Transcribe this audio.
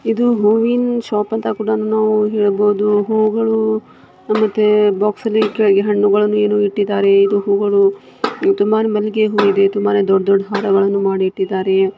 ಇದು ಹೂವಿನ ಶಾಪ್ ಅಂತ ಕೂಡ ಅಂತ ಹೇಳಬಹುದು ಹೂಗಳು ಮತ್ತೆ ಬಾಕ್ಸ್ ನಲ್ಲಿ ನೀರು ಇಟ್ಟಿದ್ದಾರೆ. ಇದು ಹೂಗಳು ಇದು ತುಂಬಾ ಮಲ್ಲಿಗೆ ಹೂವಿದೆ ತುಂಬಾ ದೊಡ್ಡ ದೊಡ್ಡ ಹಾರಗಳನ್ನು ಮಾಡಿ ಇಟ್ಟಿದ್ದಾರೆ.